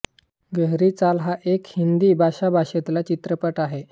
गहरी चाल हा एक हिंदी भाषा भाषेतील चित्रपट आहे